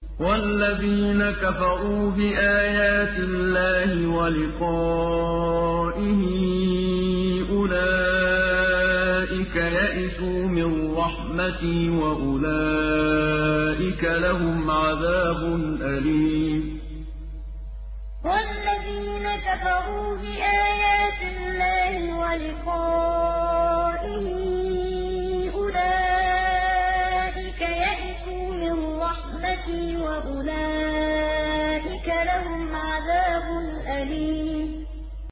وَالَّذِينَ كَفَرُوا بِآيَاتِ اللَّهِ وَلِقَائِهِ أُولَٰئِكَ يَئِسُوا مِن رَّحْمَتِي وَأُولَٰئِكَ لَهُمْ عَذَابٌ أَلِيمٌ وَالَّذِينَ كَفَرُوا بِآيَاتِ اللَّهِ وَلِقَائِهِ أُولَٰئِكَ يَئِسُوا مِن رَّحْمَتِي وَأُولَٰئِكَ لَهُمْ عَذَابٌ أَلِيمٌ